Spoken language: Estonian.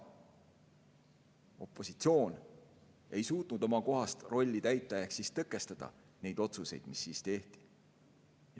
Opositsioon ei suutnud täita oma kohast rolli ehk tõkestada neid otsuseid, mis tehti.